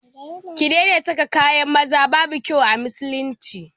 Ki daina saka kayan maza, babu kyau a musulunci